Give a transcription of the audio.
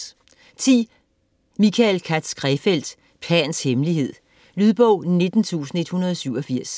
Krefeld, Michael Katz: Pans hemmelighed Lydbog 19187